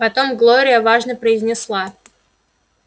потом глория важно произнесла